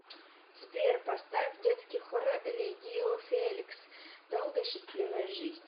сбер поставь детский хор легио феликс долгая счастливая жизнь